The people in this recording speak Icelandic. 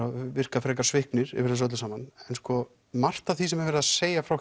virka frekar sviknir yfir þessu öllu saman margt af því sem er verið að segja frá